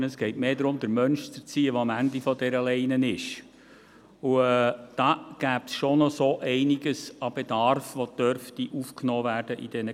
Vielmehr geht es darum, den Menschen zu erziehen, der am Ende dieser Leine ist, und da gäbe es schon noch einiges an Bedarf, das in diesen Kursen aufgenommen werden dürfte.